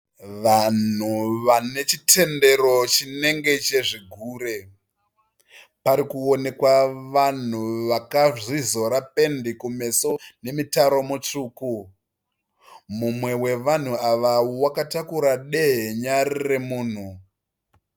Vanhu vanechitendero chinenge chezvigure. Parikuonekwa vanhu vakazvizora pendi kumeso nemutaro mutsvuku. Mumwe wavanhu ava akatakura dehenya remunhu.